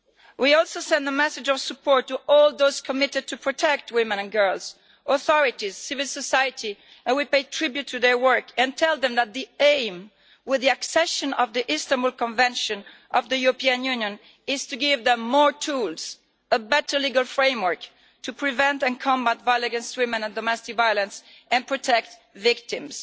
We also send a message of support to all those committed to protect women and girls authorities, civil society and we pay tribute to their work and tell them that the aim, with the accession of the Istanbul Convention, of the European Union is to give them more tools, a better legal framework to prevent and combat violence against women and domestic violence, and protect victims.